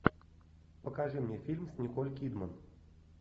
покажи мне фильм с николь кидман